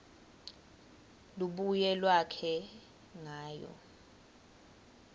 lubuye lwakhe ngayo